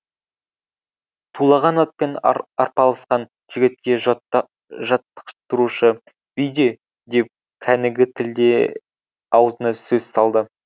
тулаған атпен арпалысқан жігітке жаттықтырушы бүйде деп кәнігі тілде аузына сөз салды